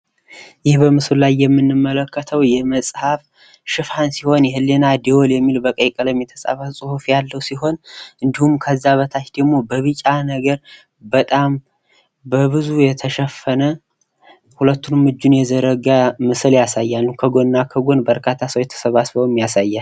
ይህ በምስሉ ላይ የምንመለከተው የመፅሐፍ ሽፋን ሲሆን የህሊና ደወል የሚል በቀይ ቀለም የተፃፈ ፅሁፍ ያለው ሲሆን። እንዲሁም ከዛ በታች ደሞ በቢጫ ነገር በጣም በብዙ የተሸፈነ ሁለቱንም እጁን የዘረጋ ምስል ያሳያል። ከጎንና ከጎን በረካታ ሰዎችም ተሰባስበው ያሳያል።